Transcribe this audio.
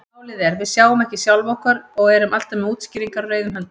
Málið er: Við sjáum ekki sjálf okkur og erum alltaf með útskýringar á reiðum höndum.